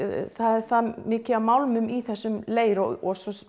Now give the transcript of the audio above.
það er það mikið af málmum í þessum leir og svo